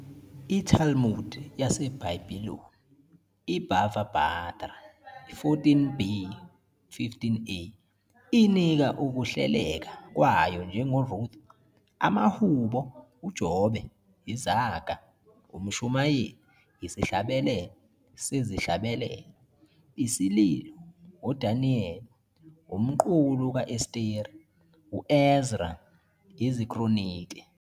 ITalmud yaseBabiloni, iBava Batra 14b - 15a, inika ukuhleleka kwayo njengoRuth, amaHubo, uJobe, iZaga, uMshumayeli, isiHlabelelo seziHlabelelo, isiLilo, uDaniel, umqulu ka-Esteri, u-Ezra, iziKronike.